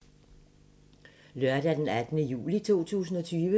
Lørdag d. 18. juli 2020